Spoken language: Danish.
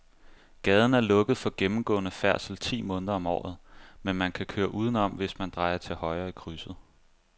Gaden er lukket for gennemgående færdsel ti måneder om året, men man kan køre udenom, hvis man drejer til højre i krydset.